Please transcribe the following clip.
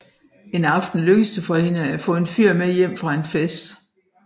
En aften lykkes det hende at få en fyr med hjem fra en fest